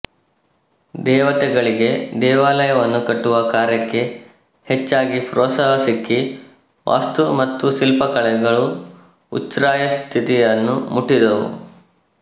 ದೇವತೆಗಳಿಗೆ ದೇವಾಲಯವನ್ನು ಕಟ್ಟುವ ಕಾರ್ಯಕ್ಕೆ ಹೆಚ್ಚಾಗಿ ಪ್ರೋತ್ಸಾಹ ಸಿಕ್ಕಿ ವಾಸ್ತು ಮತ್ತು ಶಿಲ್ಪಕಲೆಗಳು ಉಚ್ಛ್ರಾಯ ಸ್ಥಿತಿಯನ್ನು ಮುಟ್ಟಿದುವು